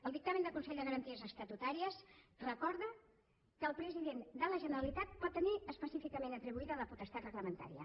el dictamen del consell de garanties estatutàries recorda que el president de la generalitat pot tenir específicament atribuïda la potestat reglamentària